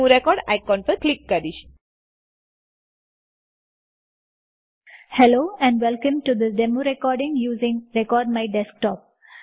હું record icon પર click કરીશHello and welcome to the demo recording using record my desktop